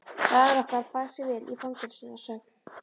Faðir okkar bar sig vel í fangelsinu að sögn.